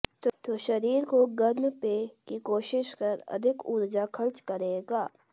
तो शरीर को गर्म पेय की कोशिश कर अधिक ऊर्जा खर्च करेगा